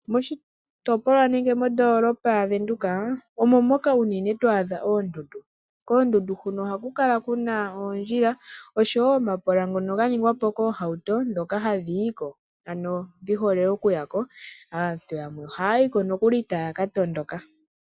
Moshitopolwa nenge noondoolopa ya Venduka omo moka unene to adha oondundu. Koondundu huno ohaku kala kuna oondjila osho woo omapola ngono ga ningwa po noohauto ndhoka hadhi yi ko ano dhi hole oku ya ko. Aantu yamwe ohaya yiko nokuli taya ka tondoka.